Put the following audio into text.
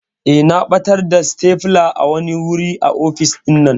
Eh na ɓatar da stapler a wani wuri a office ɗinnan.